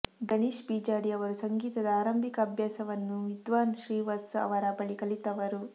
ಗಣೇಶ್ ಬೀಜಾಡಿ ಅವರು ಸಂಗೀತದ ಆರಂಭಿಕ ಅಭ್ಯಾಸವನ್ನು ವಿದ್ವಾನ್ ಶ್ರೀವತ್ಸ ಅವರ ಬಳಿ ಕಲಿತವರು